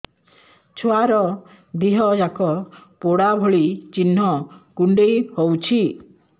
ଛୁଆର ଦିହ ଯାକ ପୋଡା ଭଳି ଚି଼ହ୍ନ କୁଣ୍ଡେଇ ହଉଛି